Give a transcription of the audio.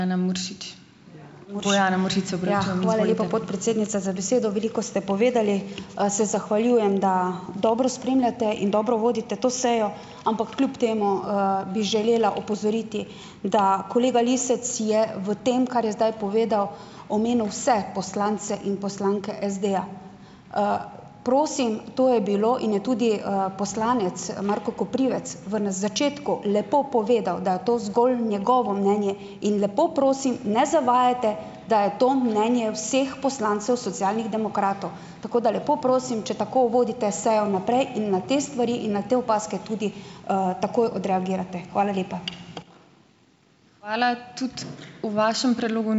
Ja, hvala lepa, podpredsednica, za besedo. Veliko ste povedali. Se zahvaljujem, da dobro spremljate in dobro vodite to sejo. Ampak kljub temu, bi želela opozoriti, da kolega Lisec je v tem, kar je zdaj povedal, omenil vse poslance in poslanke SD-ja. Prosim - to je bilo in je tudi, poslanec, Marko Koprivec v, na začetku lepo povedal, da je to zgolj njegovo mnenje in, lepo prosim, ne zavajajte, da je to mnenje vseh poslancev Socialnih demokratov. Tako da lepo prosim - če tako vodite sejo naprej in na te stvari in na te opazke tudi, takoj odreagirate. Hvala lepa.